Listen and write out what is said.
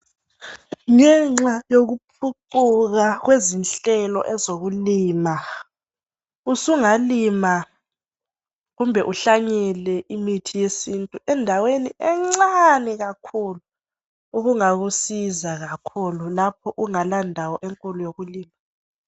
Ngenxa yokuphucuka kwezinhlelo ezokulima usungalima kumbe uhlanyele imithi yesintu endaweni encane kakhulu engakusiza nxa ungela ndawo enkulu yokulima